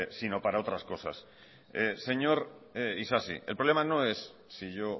sino para otras cosas señor isasi el problema no es si yo